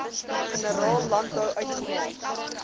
generaal landbou uitgemaak